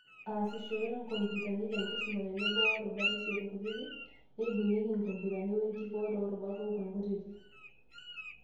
Aasishore inkopitani tenkisuma tenebo worubat isiet kutitik, neibung'ieki inkompitani wenkikoo toorubat ong'uan kutitik.